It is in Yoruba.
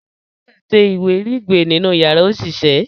òún yóò ṣe iwiregbe nínú yàrá oṣiṣẹ.